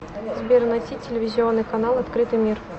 сбер найти телевизионный канал открытый мир